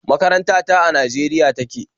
Makaranta ta a Najeriya take